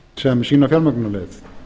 sem sína fjármögnunarleið